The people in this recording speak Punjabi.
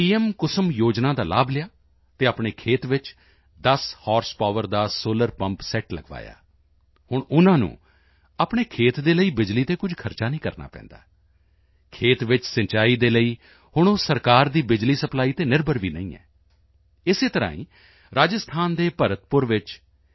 ਕੁਸੁਮ ਯੋਜਨਾ ਦਾ ਲਾਭ ਲਿਆ ਅਤੇ ਆਪਣੇ ਖੇਤ ਵਿੱਚ 10 ਹਾਰਸ ਪਾਵਰ ਦਾ ਸੋਲਰ ਪੰਪ ਸੈੱਟ ਲਗਵਾਇਆ ਹੁਣ ਉਨ੍ਹਾਂ ਨੂੰ ਆਪਣੇ ਖੇਤ ਦੇ ਲਈ ਬਿਜਲੀ ਤੇ ਕੁਝ ਖਰਚ ਨਹੀਂ ਕਰਨਾ ਪੈਂਦਾ ਖੇਤ ਵਿੱਚ ਸਿੰਚਾਈ ਦੇ ਲਈ ਹੁਣ ਉਹ ਸਰਕਾਰ ਦੀ ਬਿਜਲੀ ਸਪਲਾਈ ਤੇ ਨਿਰਭਰ ਵੀ ਨਹੀਂ ਹੈ ਇਸ ਤਰ੍ਹਾਂ ਹੀ ਰਾਜਸਥਾਨ ਦੇ ਭਰਤਪੁਰ ਵਿੱਚ ਪੀ